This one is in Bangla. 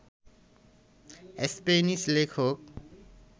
স্প্যানিশ লেখক